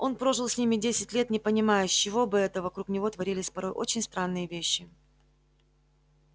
он прожил с ними десять лет не понимая с чего бы это вокруг него творились порой очень странные вещи